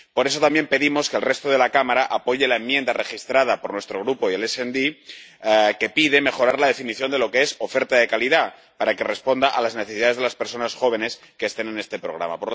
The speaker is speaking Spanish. Por eso, también pedimos que el resto de la Cámara apoye la enmienda presentada por nuestro grupo y el SD, que pide mejorar la definición de lo que es oferta de calidad, para que responda a las necesidades de las personas jóvenes que estén en este programa.